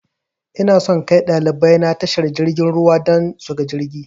Inason kai ɗalibai na tashar jirgin ruwa dan suga jirgi